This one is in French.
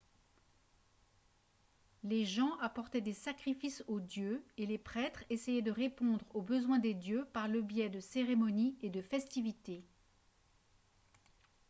les gens apportaient des sacrifices aux dieux et les prêtres essayaient de répondre aux besoins des dieux par le biais de cérémonies et de festivités